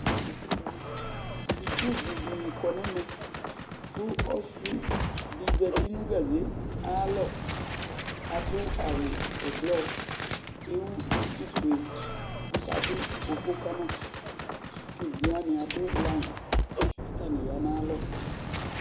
Sukuvi dɩnɩ kɔ nʋ ɛmɛ kʋ ɔsɩ dɩ zati nʋ gaze ayalɔ Adʋ awʋ ɛblɔ Ewu dukufue kʋ ɔkadʋ koko ka ma kʋ evidze wanɩ adʋ layɩn kʋ atanɩ ya nʋ ayalɔ